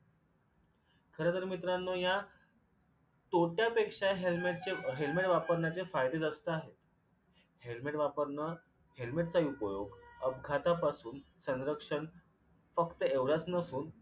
खरं तर मित्रांनो या तोट्यापेक्षा helmet चे helmet ट वापरण्याचे फायदे जास्त आहेत. helmet वापरणं helmet चाही उपयोग अपघातापासून सनरक्षण फक्त एवढच नसून